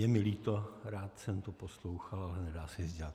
Je mi líto, rád jsem to poslouchal, ale nedá se nic dělat.